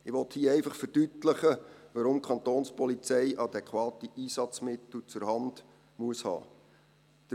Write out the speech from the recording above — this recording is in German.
Ich will hier einfach verdeutlichen, weshalb die Kapo adäquate Einsatzmittel zur Hand haben muss.